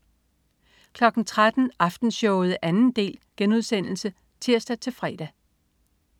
13.00 Aftenshowet 2. del* (tirs-fre)